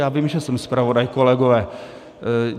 Já vím, že jsem zpravodaj, kolegové.